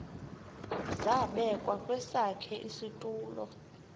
zabekwa kwesakhe isitulo